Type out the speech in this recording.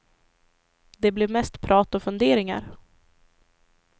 Det blev mest prat och funderingar.